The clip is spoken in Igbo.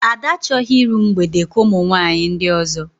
Ada achọghị iru mgbede ka ụmụ nwaanyị ndị ọzọ